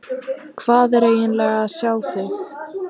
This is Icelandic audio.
Hvað er eiginlega að sjá þig.